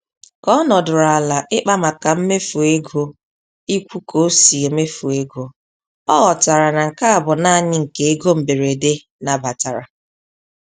Ka ọ nọdụrụ ala ịkpa maka mmefu ego ikwu ka o si emefu ego, ọ ghọtara na nke a bụ naanị nke ego mberede nabatara.